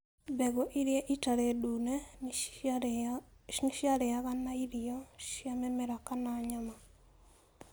Mbegũ iria itarĩ ndune nĩ ciarĩaga na irio cia mĩmera kana nyama.